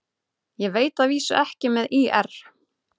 Ég veit að vísu ekki með ÍR.